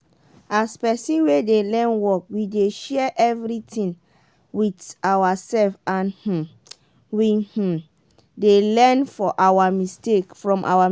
as pesin wey dey learn work we dey share everitin wit awasef and um we um dey learn from awa mistake.